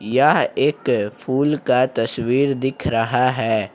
यह एक फूल का तस्वीर दिख रहा है।